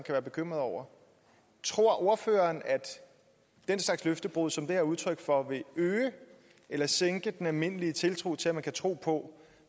være bekymrede over tror ordføreren at den slags løftebrud som det her er udtryk for vil øge eller sænke den almindelige tiltro til at man kan tro på